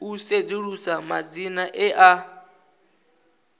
u sedzulusa madzina e a